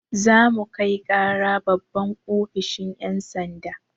Za mu kai ƙara babban ofishin yan' sanda.